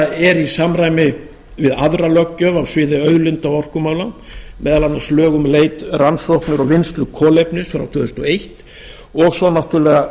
þetta er í samræmi við aðra löggjöf á sviði auðlinda og orkumála meðal annars lög um leit rannsóknir og vinnslu kolvetnis frá tvö þúsund og eins og svo náttúrlega